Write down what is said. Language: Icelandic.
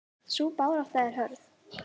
Sú barátta er hörð.